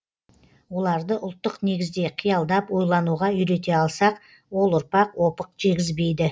оларды ұлттық негізде қиялдап ойлануға үйрете алсақ ол ұрпақ опық жегізбейді